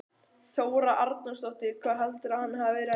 Þóra Arnórsdóttir: Hvað heldurðu að hann hafi verið að gera?